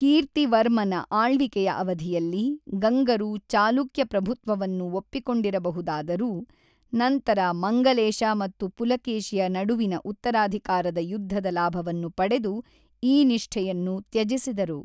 ಕೀರ್ತಿವರ್ಮನ ಆಳ್ವಿಕೆಯ ಅವಧಿಯಲ್ಲಿ ಗಂಗರು ಚಾಲುಕ್ಯ ಪ್ರಭುತ್ವವನ್ನು ಒಪ್ಪಿಕೊಂಡಿರಬಹುದಾದರೂ ನಂತರ ಮಂಗಲೇಶ ಮತ್ತು ಪುಲಕೇಶಿಯ ನಡುವಿನ ಉತ್ತರಾಧಿಕಾರದ ಯುದ್ಧದ ಲಾಭವನ್ನು ಪಡೆದು ಈ ನಿಷ್ಠೆಯನ್ನು ತ್ಯಜಿಸಿದರು.